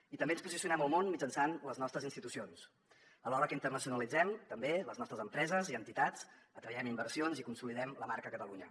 i també ens posicionem al món mitjançant les nostres institucions alhora que internacionalitzem també les nostres empreses i entitats atraiem inversions i consolidem la marca catalunya